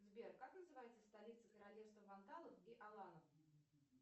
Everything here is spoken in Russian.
сбер как называется столица королевства вандалов и аланов